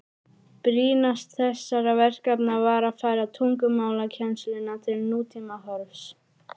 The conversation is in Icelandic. Brýnast þessara verkefna var að færa tungumálakennsluna til nútímahorfs.